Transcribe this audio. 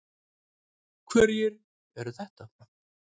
Hverjir eru þetta?